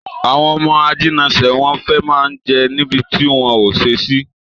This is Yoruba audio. Àwọn ọmọ ajínasè, wọ́n fẹ́ má ń jẹ níbi tí wọ́n ò ṣe sí